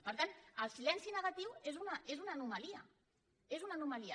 per tant el silenci negatiu és una anomalia és una anomalia